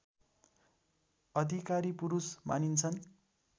अधिकारी पुरुष मानिन्छन्